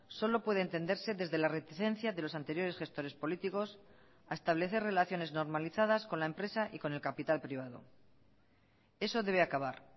solo puede entenderse desde la reticencia de los anteriores gestores políticos a establecer relaciones normalizadas con la empresa y con el capital privado eso debe acabar